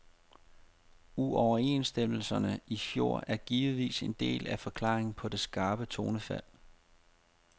Uoverenstemmelserne i fjor er givetvis en del af forklaringen på det skarpe tonefald.